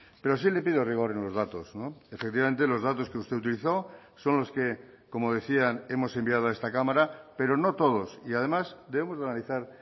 pero sí le pido rigor en los datos efectivamente los datos que usted utilizó son los que como decían hemos enviado a esta cámara pero no todos y además debemos analizar